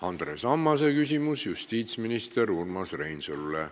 Andres Ammase küsimus justiitsminister Urmas Reinsalule.